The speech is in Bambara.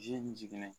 Ji min jiginnen